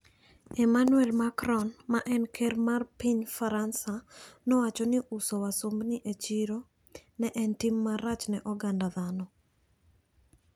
Emmanuel Macron ma en ker mar piny Faransa, nowacho ni uso wasumbini e chiro ne en "tim marach ne oganda dhano".